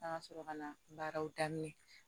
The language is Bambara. An ka sɔrɔ ka na baaraw daminɛ